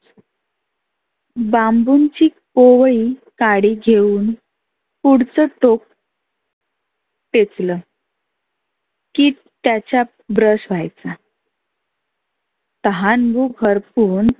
बांबुंची कोवळी काडी घेऊन पुढच टोक ठेचल की त्याचा brush व्हायचा तहान भुक हरपुन